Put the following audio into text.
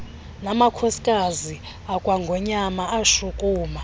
namakhosikazi akwangonyama ashukuma